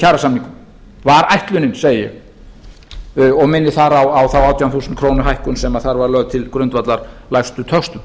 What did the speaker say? kjarasamningum var ætlunin segi ég og minni þar á þá átján þúsund króna hækkun sem þar var lögð til grundvallar lægstu töxtum